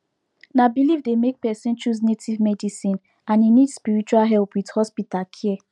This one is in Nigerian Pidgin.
na belief dey make person choose native medicine and e need spiritual help with hospital care